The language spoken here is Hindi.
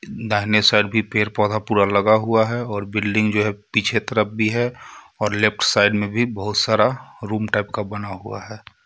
दाहिने साइड भी पैड पौधा पूरा लगा हुआ है और बिल्डिंग जो है पीछे तरफ़ भी है और लेफ्ट साइड में भी बहुत सारा रूम टाइप का बना हुआ है.